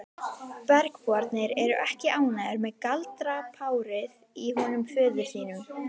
Bergbúarnir eru ekki ánægðir með galdrapárið í honum föður þínum.